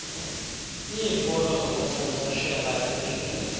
iifolo zokuncenceshela injineli